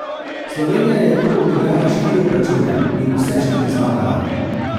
Slovenija je tu odigrala štiri obračune in vse štiri zmagala.